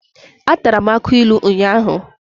Atara m akụ ilu ụnyahụ.